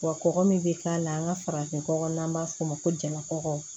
Wa kɔkɔ min be k'a la an ŋa farafin nɔgɔ n'an b'a f'o ma ko jama kɔkɔ